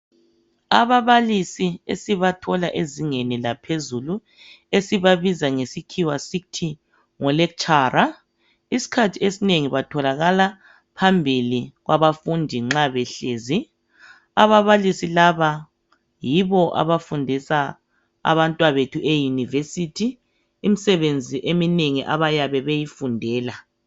Ababalisi esibathola ezingeni laphezulu esibabiza ngesikhiwa sithi ngo lecturer isikhathi esinengi batholakala phambili kwabafundi nxa behlezi. Ababalisi laba yibo abafundisa abantwabethu e University imisebenzi eminengi abayabe beyifundela.